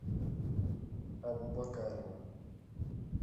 абубакарова